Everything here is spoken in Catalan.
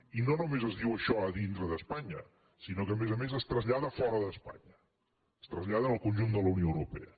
i no només es diu això dintre d’espanya sinó que a més a més es trasllada fora d’espanya ho traslladen en el conjunt de la unió europea